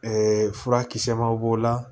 furakisɛbaw b'o la